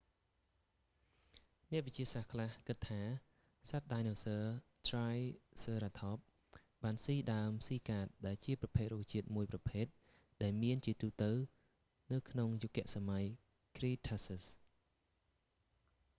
អ្នកវិទ្យាសាស្ត្រខ្លះគិតថា សត្វដាយណូស័រ ត្រាយស៊ើរ៉ាថប triceratops បានស៊ីដើមស៊ីកាដដែលជាប្រភេទរុក្ខជាតិមួយប្រភេទ ដែលមានជាទូទៅនៅក្នុងយុគសម័យ cretaceous